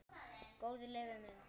Góði Leifur minn,